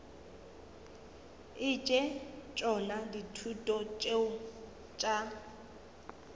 etse tšona dithuto tšeo tša